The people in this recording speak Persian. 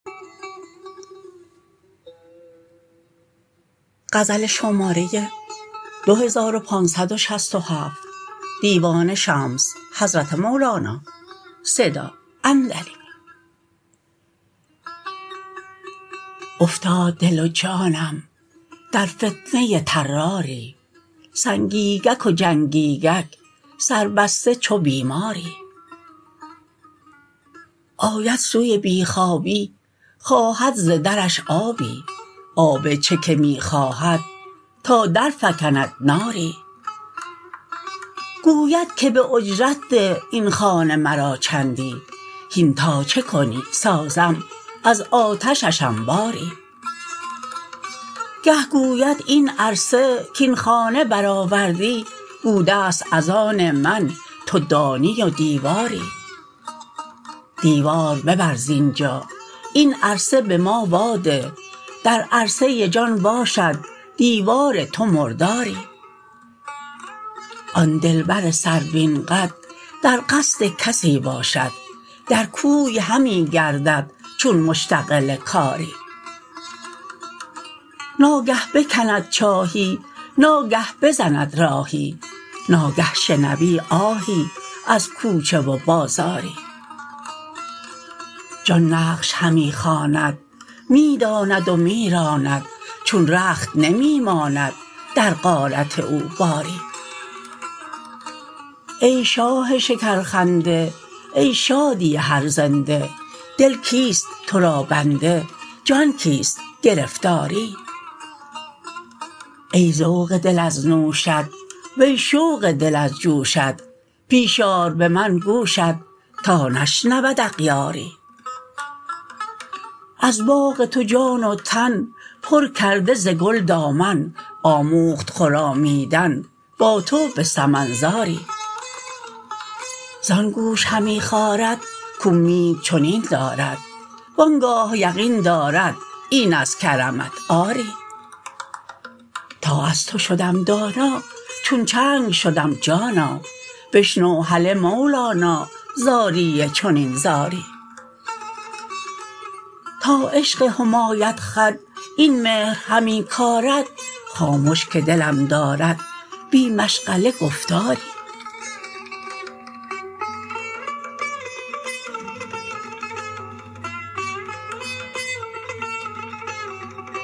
افتاد دل و جانم در فتنه طراری سنگینک جنگینک سر بسته چو بیماری آید سوی بی خوابی خواهد ز درش آبی آب چه که می خواهد تا درفکند ناری گوید که به اجرت ده این خانه مرا چندی هین تا چه کنی سازم از آتشش انباری گه گوید این عرصه کاین خانه برآوردی بوده ست از آن من تو دانی و دیواری دیوار ببر زین جا این عرصه به ما واده در عرصه جان باشد دیوار تو مرداری آن دلبر سروین قد در قصد کسی باشد در کوی همی گردد چون مشتغل کاری ناگه بکند چاهی ناگه بزند راهی ناگه شنوی آهی از کوچه و بازاری جان نقش همی خواند می داند و می راند چون رخت نمی ماند در غارت او باری ای شاه شکرخنده ای شادی هر زنده دل کیست تو را بنده جان کیست گرفتاری ای ذوق دل از نوشت وی شوق دل از جوشت پیش آر به من گوشت تا نشنود اغیاری از باغ تو جان و تن پر کرده ز گل دامن آموخت خرامیدن با تو به سمن زاری زان گوش همی خارد کاومید چنین دارد و آن گاه یقین دارد این از کرمت آری تا از تو شدم دانا چون چنگ شدم جانا بشنو هله مولانا زاری چنین زاری تا عشق حمیاخد این مهر همی کارد خامش که دلم دارد بی مشغله گفتاری